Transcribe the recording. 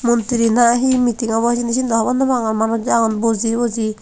mantri na he meeting abow hijeni siyendo hobor nopangor manus agon buji buji.